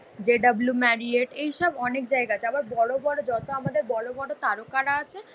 J W Marriott এইসব অনেক জায়গা আছে, আবার বড়োবড়ো যত আমাদের বড়োবড়ো তারকারা আছে